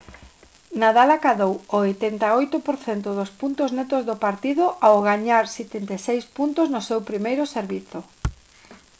nadal acadou o 88 % dos puntos netos do partido ao gañar 76 puntos no seu primeiro servizo